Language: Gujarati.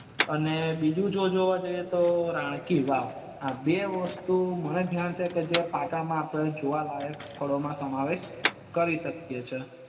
અને બીજું જો જોવા જઈએ તો રાણકી વાવ આ બે વસ્તુ મને ધ્યાન છે ત્યાં સુધી પાટણ માં જોવાલાયક સ્થળ મા સમાવેશ કરી સકે છે